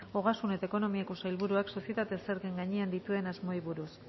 ogasun eta ekonomiako sailburuak sozietate zergaren gainean dituen asmoei buruz